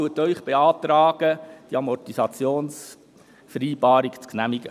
Die BaK beantragt Ihnen, die Amortisationsvereinbarung zu genehmigen.